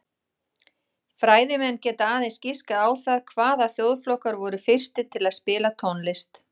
Fræðimenn geta aðeins giskað á það hvaða þjóðflokkar voru fyrstir til að spila tónlist.